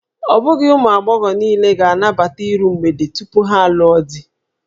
Ọ bụghị ụmụ agbọghọ niile na-anabata iru mgbede tupu ha alụọ di